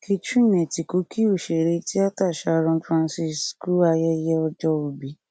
catherine etíkọ kí òṣèré tíáta sharon francis kú ayẹyẹ ọjọòbí